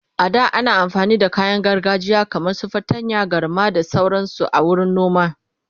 a da ana amfani da kayan gargajiya kaman su fatanya, galma da sauransu a wurin noma.